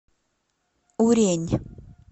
урень